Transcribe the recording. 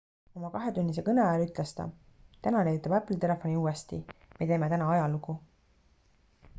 oma kahetunnise kõne ajal ütles ta täna leiutab apple telefoni uuesti me teeme täna ajalugu